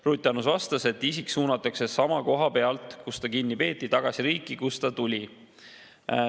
Ruth Annus vastas, et isik suunatakse samast kohast, kus ta kinni peeti, tagasi riiki, kust ta tuli.